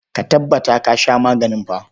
Ka tabbata ka sha maganin fa.